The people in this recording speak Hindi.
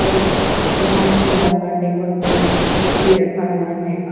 और ब्राउन कलर का टेबल पे लकड़ी रखा गया है।